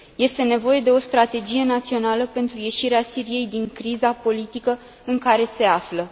Este nevoie de o strategie națională pentru ieșirea Siriei din criza politică în care se află.